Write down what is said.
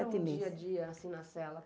Como que era um dia-a-dia, assim, na cela?